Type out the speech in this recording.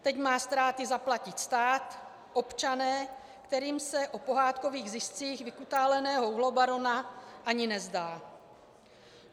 Teď má ztráty zaplatit stát, občané, kterým se o pohádkových ziscích vykutáleného uhlobarona ani nezdá.